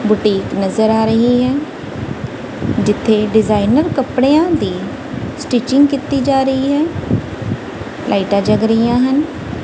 Boutique ਨਜ਼ਰ ਆ ਰਹੀ ਹੈ ਜਿੱਥੇ ਡਿਜ਼ਾਇਨਰ ਕੱਪੜੇ ਦੀ ਸਟਿਚਿੰਗ ਕੀਤੀ ਜਾ ਰਹੀ ਹੈ ਲਾਈਟਾ ਜਗ ਰਹੀਆਂ ਹਨ।